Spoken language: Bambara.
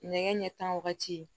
Nɛgɛ ɲɛ tan wagati